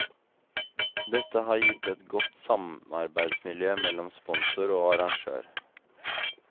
Dette har gitt et godt samarbeidsmiljø mellom sponsor og arrangør.